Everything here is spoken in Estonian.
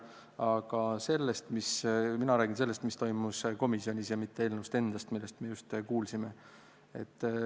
Aga mina räägin sellest, mis toimus komisjonis, ja mitte eelnõust endast, mida meile just tutvustati.